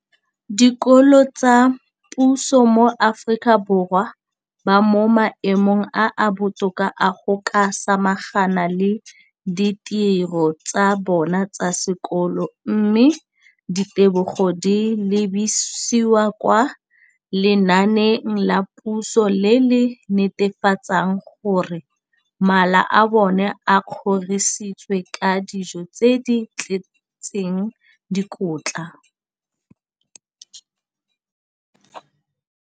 dikolo tsa puso mo Aforika Borwa ba mo maemong a a botoka a go ka samagana le ditiro tsa bona tsa sekolo, mme ditebogo di lebisiwa kwa lenaaneng la puso le le netefatsang gore mala a bona a kgorisitswe ka dijo tse di tletseng dikotla.